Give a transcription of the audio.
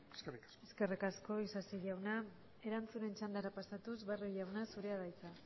eskerrik asko eskerrik asko isasi jauna erantzunen txandara pasatuz barrio jauna zurea da hitza